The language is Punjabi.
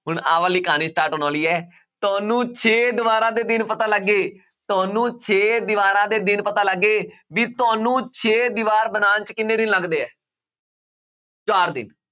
ਹੁਣ ਆਹ ਵਾਲੀ ਕਹਾਣੀ start ਹੋਣ ਵਾਲੀ ਹੈ, ਤੁਹਾਨੂੰ ਛੇ ਦੀਵਾਰਾਂ ਦੇ ਦਿਨ ਪਤਾ ਲੱਗ ਗਏ, ਤੁਹਾਨੂੰ ਛੇ ਦੀਵਾਰਾਂ ਦੇ ਦਿਨ ਪਤਾ ਲੱਗ ਗਏ ਵੀ ਤੁਹਾਨੂੰ ਛੇ ਦੀਵਾਰ ਬਣਾਉਣ 'ਚ ਕਿੰਨੇ ਦਿਨ ਲੱਗਦੇ ਹੈ ਚਾਰ ਦਿਨ